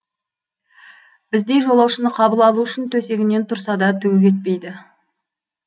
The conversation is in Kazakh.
біздей жолаушыны қабыл алу үшін төсегінен тұрса да түгі кетпейді